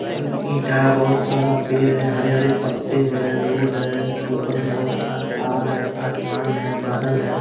ईंटा है बहुत सारा पेड़ है हरे-हरे पत्ते है रोड है ऊपर में बहुत सारा तार है आसमान हैं बादल है।